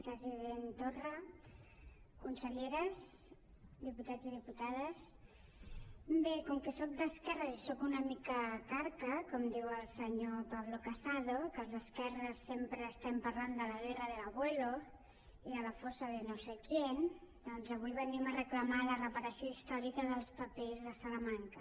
president torra conselleres diputats i diputades bé com que soc d’esquerres i soc una mica carca com diu el senyor pablo casado que els d’esquerres sempre estem parlant de la guerra del abuelodoncs avui venim a reclamar la reparació històrica dels papers de salamanca